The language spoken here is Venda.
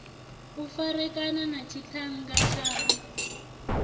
u farekana na tshiṱhannga tshaṋu